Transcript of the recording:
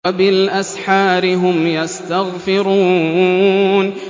وَبِالْأَسْحَارِ هُمْ يَسْتَغْفِرُونَ